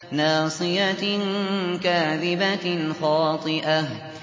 نَاصِيَةٍ كَاذِبَةٍ خَاطِئَةٍ